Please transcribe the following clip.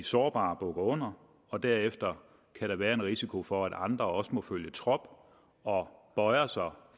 sårbare bukker under og derefter kan der være en risiko for at andre også må følge trop og bøjer sig